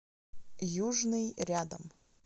южный рядом